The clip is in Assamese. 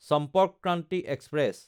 চম্পৰ্ক ক্ৰান্তি এক্সপ্ৰেছ